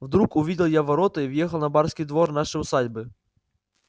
вдруг увидел я ворота и въехал на барский двор нашей усадьбы